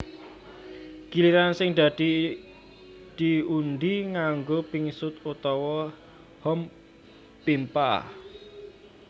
Giliran sing dadi diundhi nganggo pingsut utawa hompimpah